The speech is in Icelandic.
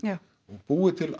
já búið til